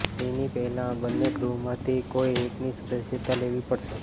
તેની પહેલાં બંને ગૃહમાંથી કોઇ એકની સદસ્યતા લેવી પડશે